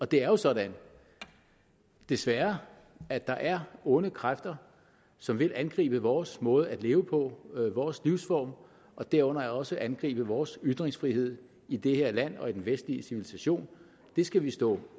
det er jo sådan desværre at der er onde kræfter som vil angribe vores måde at leve på vores livsform derunder også angribe vores ytringsfrihed i det her land og i den vestlige civilisation det skal vi stå